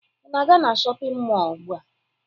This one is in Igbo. Ị na-aga na shọpịn mọọ ugbua?